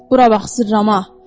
Bura bax, sırma.